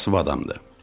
Kasıb adamdır.